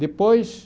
Depois,